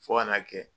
Fo ka n'a kɛ